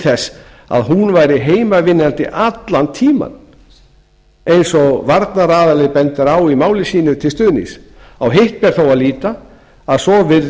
þess að hún væri heimavinnandi allan tímann eins og varnaraðili bendir á máli sínu til stuðnings á hitt ber þó að líta að svo